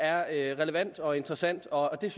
er relevant og interessant og jeg